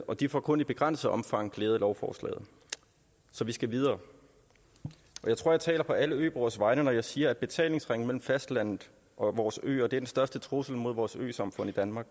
og de får kun i begrænset omfang glæde af lovforslaget så vi skal videre jeg tror jeg taler på alle øboeres vegne når jeg siger at betalingsringen mellem fastlandet og vores øer at den største trussel mod vores øsamfund i danmark